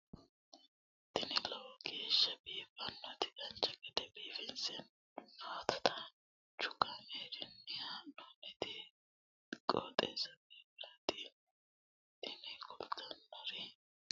tini lowo geeshsha biiffannoti dancha gede biiffanno footo danchu kaameerinni haa'noonniti qooxeessa biiffannoti tini kultannori maatiro seekkine la'niro biiffannota faayya ikkase kultannoke misileeti yaate